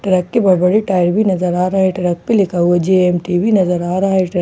truck के बहुत बड़े टायर भी नज़र आ रहा है ट्रक पे लिखा हुआ जे_ऐम_टी भी नज़र आ रहा है ट्रक --